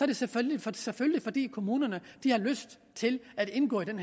det selvfølgelig fordi selvfølgelig fordi kommunerne har lyst til at indgå i